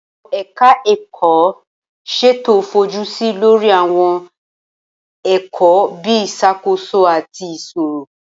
Awọn eka-eko ìsètò fojusi lori Awon èkò bi isakoso, ati iṣiro.